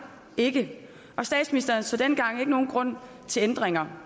ikke men statsministeren så dengang ikke nogen grund til ændringer